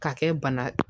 K'a kɛ bana